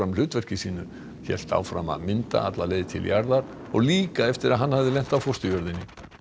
hlutverki sínu hélt áfram að mynda alla leið til jarðar og líka eftir að hann hafði lent á fósturjörðinni